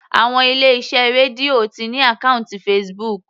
Àwọn ilé iṣẹ́ Radio ti ní àkọ́ùntì Facebook.